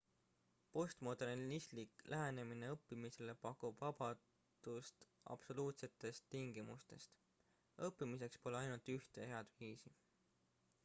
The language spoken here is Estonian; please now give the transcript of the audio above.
postmodernistlik lähenemine õppimisele pakub vabadust absoluutsetest tingimustest õppimiseks pole ainult ühte head viisi